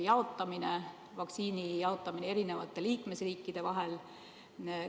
Kuidas käib vaktsiini jaotamine eri liikmesriikide vahel?